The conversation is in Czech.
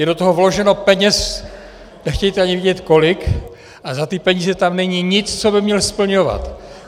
Je do toho vloženo peněz, nechtějte ani vědět kolik, a za ty peníze tam není nic, co by měl splňovat.